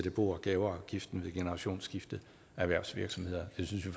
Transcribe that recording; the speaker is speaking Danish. af bo og gaveafgiften ved generationsskifte af erhvervsvirksomheder det synes vi